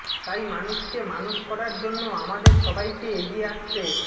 তাই মানুষকে মানুষ করার জন্য আমাদের সবাইকে এগিয়ে আসতে